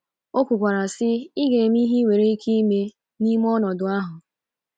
O kwukwara, sị: “ Ị ga - eme ihe i nwere ike ime n’ọnọdụ ahụ. ”